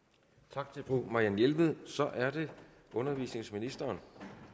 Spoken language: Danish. tak til fru marianne jelved så er det undervisningsministeren